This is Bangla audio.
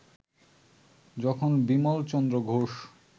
যখন বিমলচন্দ্র ঘোষ